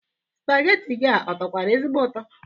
Spageti gị a ọ tọkwara ezigbo ụtọ?